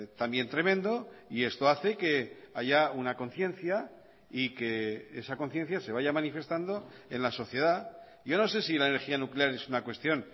también tremendo y esto hace que haya una conciencia y que esa conciencia se vaya manifestando en la sociedad yo no sé si la energía nuclear es una cuestión